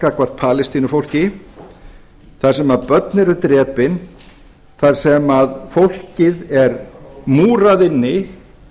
gagnvart palestínufólki þar sem börn eru drepin þar sem fólkið er múrað inni